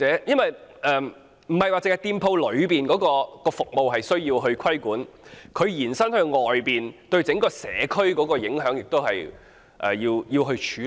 不單店鋪的服務需要規管，對整個社區的影響亦要關注、處理。